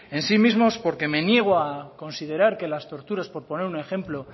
en sí mismos porque me niego a considerar que las torturas por poner un ejemplo